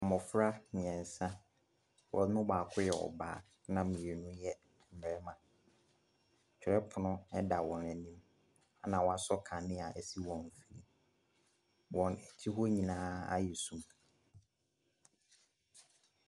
Mmɔfra mmiɛnsa, wɔn mu baako yɛ ɔbaa na mmienu yɛ mmarima, twerɛpono da wɔn anim na wɔasɔ kanea wɔ wɔn mfini, wɔn akyi hɔ nyinaa ayɛ sum.